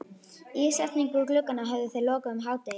Ísetningu glugganna höfðu þeir lokið um hádegið.